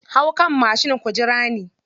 Hau kan mashin ku jira ni.